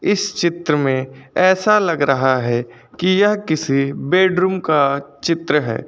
इस चित्र में ऐसा लग रहा है कि यह किसी बेडरूम का चित्र है।